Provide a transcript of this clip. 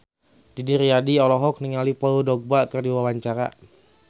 Didi Riyadi olohok ningali Paul Dogba keur diwawancara